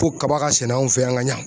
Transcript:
Ko kaba ka sɛnɛ anw fɛ yan ka ɲa